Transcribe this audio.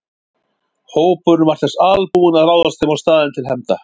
Hópurinn var þess albúinn að ráðast heim á staðinn til hefnda.